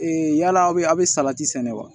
yala aw bɛ a bɛ salati sɛnɛ wa